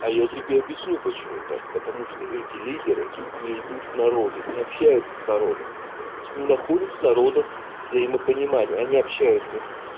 а я тебе объясню почему так потому что эти лидеры не идут к народу не общаются с народом не находят с народом взаимопонимание они общаются